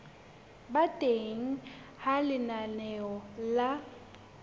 ba teng ha lenaneo la